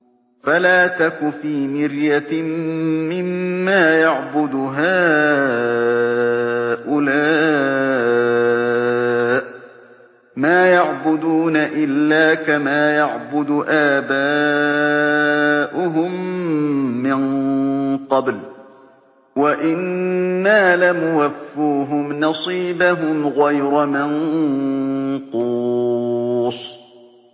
فَلَا تَكُ فِي مِرْيَةٍ مِّمَّا يَعْبُدُ هَٰؤُلَاءِ ۚ مَا يَعْبُدُونَ إِلَّا كَمَا يَعْبُدُ آبَاؤُهُم مِّن قَبْلُ ۚ وَإِنَّا لَمُوَفُّوهُمْ نَصِيبَهُمْ غَيْرَ مَنقُوصٍ